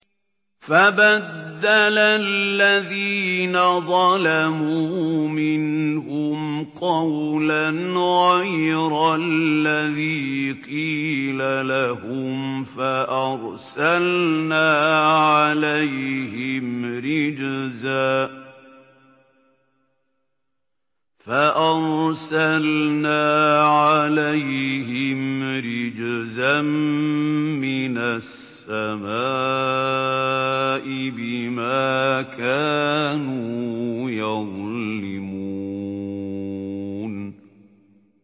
فَبَدَّلَ الَّذِينَ ظَلَمُوا مِنْهُمْ قَوْلًا غَيْرَ الَّذِي قِيلَ لَهُمْ فَأَرْسَلْنَا عَلَيْهِمْ رِجْزًا مِّنَ السَّمَاءِ بِمَا كَانُوا يَظْلِمُونَ